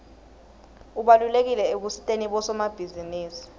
ubalulekile ekusiteni bosomabhizinisi